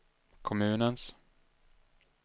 kommunens